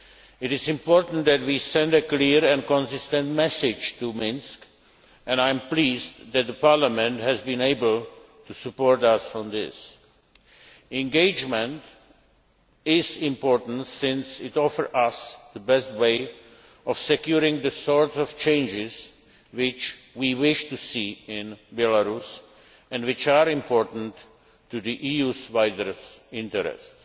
us. It is important that we send a clear and consistent message to Minsk and I am pleased that Parliament has been able to support us on this. Engagement is important since it offers us the best way of securing the sort of changes which we wish to see in Belarus and which are important to the EU's wider interests.